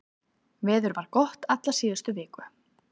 Veður var gott alla síðustu viku